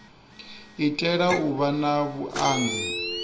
itela u vha na vhuanzi